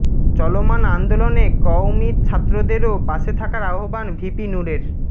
চলমান আন্দোলনে কওমি ছাত্রদেরও পাশে থাকার আহ্বান ভিপি নুরের